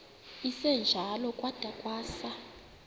esinjalo kwada kwasa